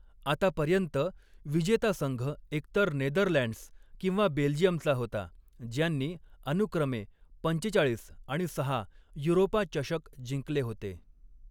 आतापर्यंत, विजेता संघ एकतर नेदरलँड्स किंवा बेल्जियमचा होता, ज्यांनी अनुक्रमे पंचेचाळीस आणि सहा युरोपा चषक जिंकले होते.